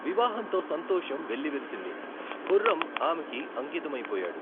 వివాహంతో సంతోషం వెల్లివిరిసింది, ఖుర్రం ఆమెకి అంకితమైపోయాడు.